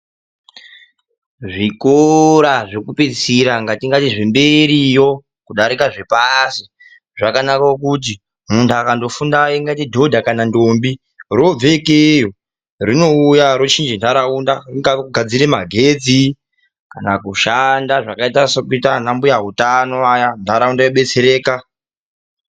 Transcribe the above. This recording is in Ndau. Zvikora zvekupeisira ngatingati zvemberiyo kudarika zvepashi zvakanakira kuti muntu akandofunda ingati dhodha kana ntombi robve ikeyo rochiche nharaunda kana kushanda zvakaite kunge zvemagetsi kana kushanda zvakaita sana mbuya utano vaya ntaraunda yodetsereka.